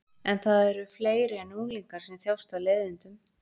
En það eru fleiri en unglingar sem þjást af leiðindum.